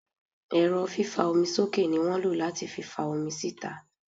Ẹ́rọ fífa omi sókè ní wọ́n lo láti fi fa omi síta.